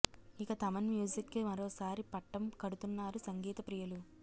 ఇక థమన్ మ్యూజిక్కి మరోసారి పట్టం కడుతున్నారు సంగీత ప్రియులు